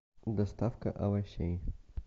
доставка овощей